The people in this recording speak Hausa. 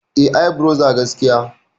E Ibrother gaskiya.